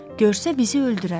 Görsə bizi öldürər.